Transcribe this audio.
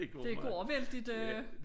Det går vældigt øh